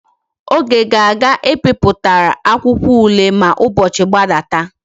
Onye ga aga I piputara akwuakwo ule a ma ubochi gbadata?